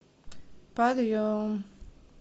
подъем